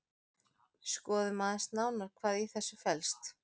Skoðum aðeins nánar hvað í þessu felst.